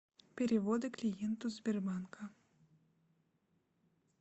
переводы клиенту сбербанка